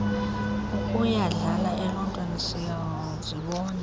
ukuyandlala eluuntwini siyazibona